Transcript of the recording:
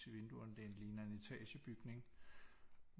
I vinduerne det ligner en etagebygning